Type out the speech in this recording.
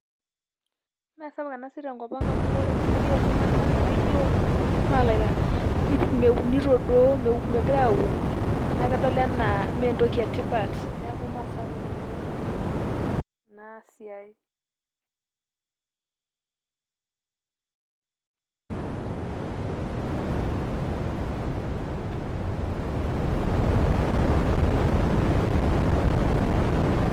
mmee sapuk ena siai tenkop ang amu ore enkumoi oltunganak mmee lara meunito duoo megirae aun naa kedol anaa mmee entoki etipat niaku mmee sapuk oleng tenkop ang ina siai